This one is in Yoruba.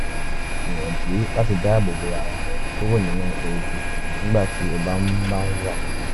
gbìyànjú láti dáàbò bo ara rẹ kúrò nínú eruku nígbà tí o bá ń bá ń wakọ̀